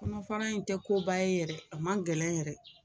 Kɔnɔ fara in tɛ koba ye yɛrɛ, a man gɛlɛn yɛrɛ!